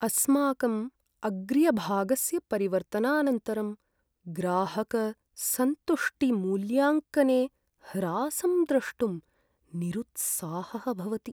अस्माकं अग्र्यभागस्य परिवर्तनानन्तरं ग्राहकसन्तुष्टिमूल्याङ्कने ह्रासं द्रष्टुं निरुत्साहः भवति।